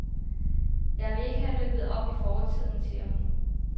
Jeg vil ikke have rippet op i fortiden, siger hun.